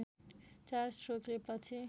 चार स्ट्रोकले पछि